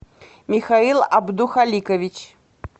михаил абдухаликович